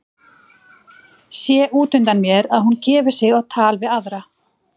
Sé út undan mér að hún gefur sig á tal við aðra.